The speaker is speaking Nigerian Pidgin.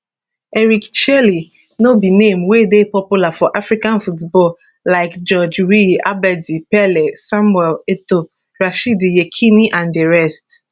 eric chelle no be name wey dey popular for african football like george weah abedi pele samuel etoo rashidi yekini and di rest